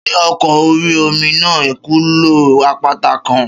Ṣé ọkọ̀ orí-omi náà kulo àpáta kan?